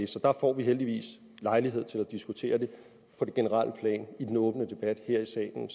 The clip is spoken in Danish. så der får vi heldigvis lejlighed til at diskutere det på det generelle plan i en åben debat her i salen